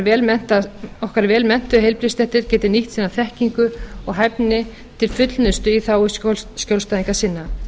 þannig að okkar vel menntuðu heilbrigðisstéttir geti nýtt sína þekkingu og hæfni til fullnustu í þágu skjólstæðinga sinna